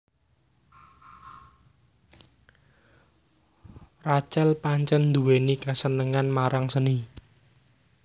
Rachel pancèn nduwèni kasenengan marang seni